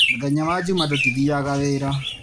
Mũthenya wa juma tũtithiaga wĩra.